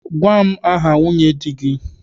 Gwa m aha nwunye di gị!